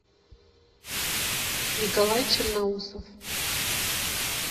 николай черноусов